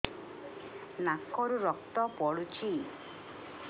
ନାକରୁ ରକ୍ତ ପଡୁଛି